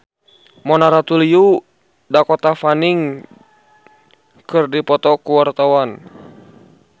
Mona Ratuliu jeung Dakota Fanning keur dipoto ku wartawan